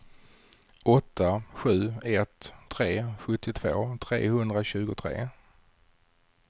åtta sju ett tre sjuttiotvå trehundratjugotre